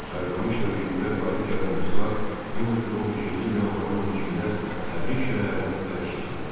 Sarıqamış döyüşündə qalib gələn ruslar 1915-ci il yanvarın 15-də Təbriz şəhərini ələ keçirdilər.